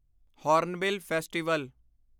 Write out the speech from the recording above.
Hornbill festival